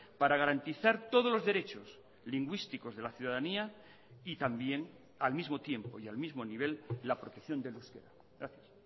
para garantizar todos los derechos lingüísticos de la ciudadanía y también al mismo tiempo y al mismo nivel la protección del euskera gracias